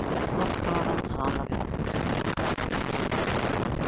Þú þarft bara að tala við okkur.